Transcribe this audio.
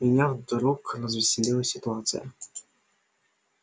меня вдруг развеселила ситуация